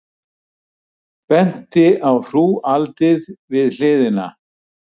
Benti á hrúgaldið við hliðina.